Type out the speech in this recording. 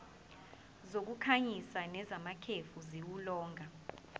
zokukhanyisa nezamakhefu ziwulolonga